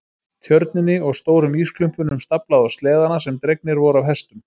Tjörninni og stórum ísklumpunum staflað á sleðana sem dregnir voru af hestum.